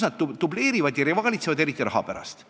Nad dubleerivad ja rivaalitsevad, eriti raha pärast.